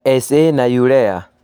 SA na urea